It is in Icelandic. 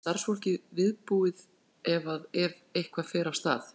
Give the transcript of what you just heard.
Jóhann: En starfsfólkið viðbúið ef að, ef eitthvað fer af stað?